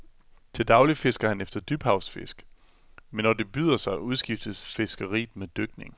Til daglig fisker han efter dybhavsfisk, men når det byder sig, udskiftes fiskeriet med dykning.